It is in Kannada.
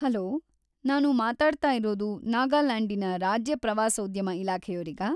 ಹಲೋ! ನಾನು ಮಾತಾಡ್ತಾ ಇರೋದು ನಾಗಾಲ್ಯಾಂಡಿನ ರಾಜ್ಯ ಪ್ರವಾಸೋದ್ಯಮ ಇಲಾಖೆಯೋರಿಗಾ?